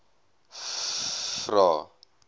vvvvrae